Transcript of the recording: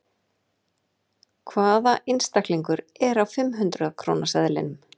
Hvaða einstaklingur er á fimm hundrað króna seðlinum?